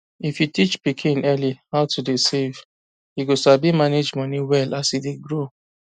if you teach pikin early how to dey save e go sabi manage money well as e dey grow